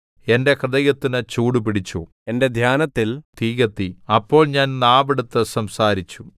എന്റെ ഹൃദയത്തിന് ചൂട് പിടിച്ചു എന്റെ ധ്യാനത്തിൽ തീ കത്തി അപ്പോൾ ഞാൻ നാവെടുത്ത് സംസാരിച്ചു